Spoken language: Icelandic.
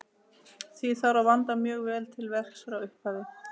Því þarf að vanda mjög vel til verks frá upphafi.